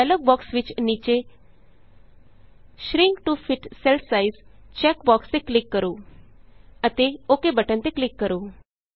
dialog box ਵਿਚ ਨੀਚੇ shrink to fit cell size check box ਤੇ ਕਲਿਕ ਕਰੋ ਅਤੇ ਓਕ ਬਟਨ ਤੇ ਕਲਿਕ ਕਰੋ